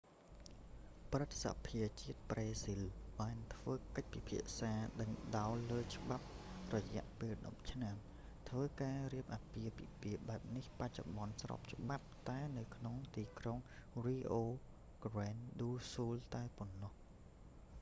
ព្រឹទ្ធសភាជាតិប្រេស៊ីល បានធ្វើកិច្ចពិភាក្សាដេញដោលលើច្បាប់រយៈពេល 10 ឆ្នាំ ហើយការរៀបអាពាហ៍ពិពាហ៍បែបនេះ បច្ចុប្បន្នស្របច្បាប់តែនៅក្នុងទីក្រុង rio grande do sul តែប៉ុណ្ណោះ